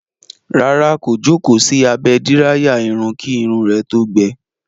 Rárá, kò jókòó sí abẹ́ díráyà irun kí irun rẹ̀ tó gbẹ.